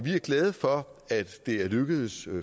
er glade for at det er lykkedes